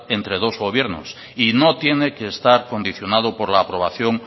entre dos gobiernos y no tiene que estar condicionado por la aprobación